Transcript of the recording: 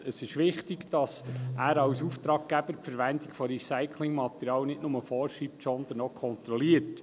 Es ist wichtig, dass er als Auftraggeber die Verwendung von Recyclingmaterial nicht nur vorschreibt, sondern auch kontrolliert.